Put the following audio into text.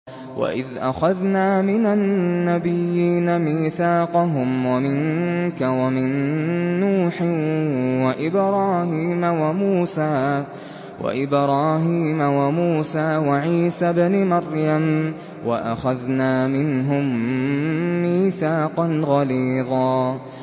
وَإِذْ أَخَذْنَا مِنَ النَّبِيِّينَ مِيثَاقَهُمْ وَمِنكَ وَمِن نُّوحٍ وَإِبْرَاهِيمَ وَمُوسَىٰ وَعِيسَى ابْنِ مَرْيَمَ ۖ وَأَخَذْنَا مِنْهُم مِّيثَاقًا غَلِيظًا